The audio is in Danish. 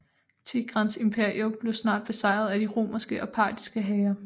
Tigrans imperium blev snart besejret af de romerske og partiske hære